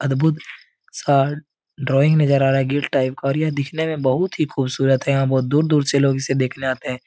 अद्भुत सा ड्रॉइंग नजर आ रहा है गेट टाइप का और यह देखने में बोहोत बहो ही खूबसूरत है। यहाँ बोहोत दूर दूर से लोग इसे देखने आते हैं।